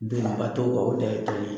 Doniba t'o kan o dan ye tɔli ye